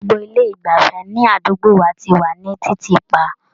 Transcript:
Gbogbo ilé ìgbafẹ́ ní àdúgbò wa ti wà ní títì pa.